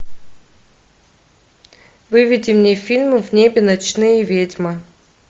выведи мне фильм в небе ночные ведьмы